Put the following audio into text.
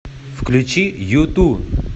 включи юту